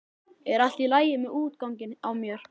Er allt í lagi með útganginn á mér?